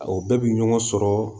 O bɛɛ bi ɲɔgɔn sɔrɔ